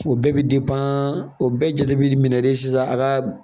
O bɛɛ bɛ o bɛɛ jate bi minɛ de sisan a ka